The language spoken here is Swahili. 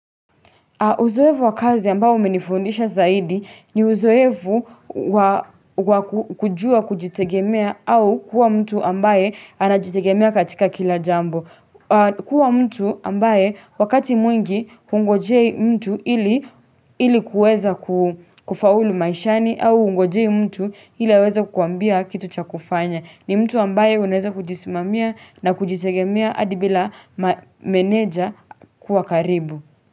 Uzoevu wa kazi ambao umenifundisha zaidi ni uzoevu kujua kujitegemea au kuwa mtu ambaye anajitegemea katika kila jambo. Kuwa mtu ambaye wakati mwingi kungojei mtu ili kuweza kufaulu maishani au kungojei mtu ili weza kuambia kitu cha kufanya. Ni mtu ambaye unaeza kujismamia na kujitegemea adibila meneja kuwa karibu.